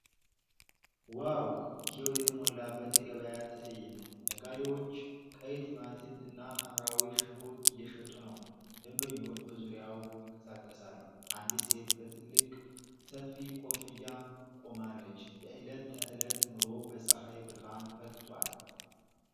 ዋው! ሕይወት የተሞላበት የገበያ ትዕይንት ። ነጋዴዎች ቀይ ቲማቲም እና ሐምራዊ ሽንኩርት እየሸጡ ነው ። ደንበኞች በዙሪያው ይንቀሳቀሳሉ፤ አንዲት ሴት በትልቅ ሰፊ ኮፍያ ቆማለች። የዕለት ተዕለት ኑሮ በፀሐይ ብርሃን ፈክቷል።